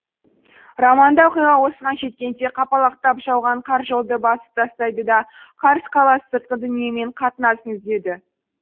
романда оқиға осыған жеткенде қапалақтап жауған қар жолды басып тастайды да карс қаласы сыртқы дүниемен қатынасын үзеді